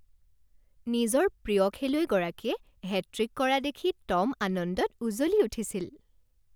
নিজৰ প্ৰিয় খেলুৱৈগৰাকীয়ে হেট্ৰিক কৰা দেখি টম আনন্দত উজলি উঠিছিল